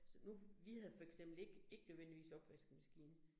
Så nu, vi havde for eksempel ikke ikke nødvendigvis opvaskemaskine